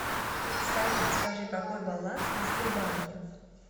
салют скажи какой баланс на сбербанке